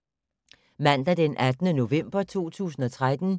Mandag d. 18. november 2013